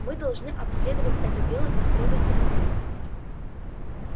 мы должны обследовать это дело по строгой системе